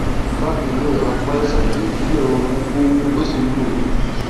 bákan náà apá ìsàlẹ ìdí náà wú ó wú ó sì ń dún mi